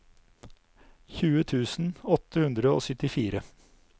tjue tusen åtte hundre og syttifire